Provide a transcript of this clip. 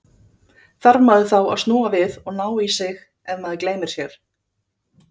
Þarf maður þá að snúa við og ná í sig, ef maður gleymir sér?